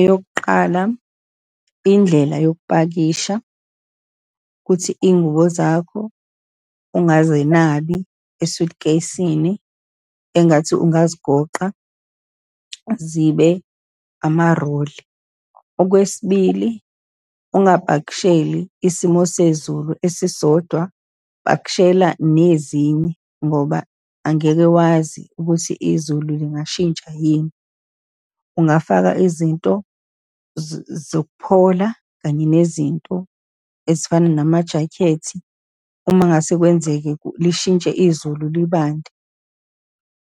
Eyokuqala indlela yokupakisha, ukuthi iy'ngubo zakho ungazenabi e-suitcase-sini, engathi ungazigoqa zibe ama-roll. Okwesibili, ungapakisheli isimo sezulu esisodwa, pakishela nezinye ngoba angeke wazi ukuthi izulu lingashintsha yini. Ungafaka izinto zokuphola kanye nezinto ezifana namajakhethi, uma ngase kwenzeke lishintshe izulu, libande.